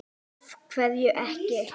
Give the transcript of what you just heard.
Af hverju ekki?